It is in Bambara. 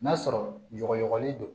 N'a sɔrɔ yɔgkɔl don